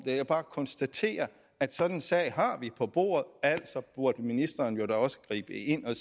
jeg kan bare konstatere at sådan en sag har vi på bordet altså burde ministeren jo da også gribe ind og